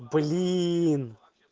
блин